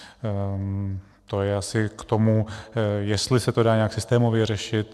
To je asi k tomu, jestli se to dá nějak systémově řešit.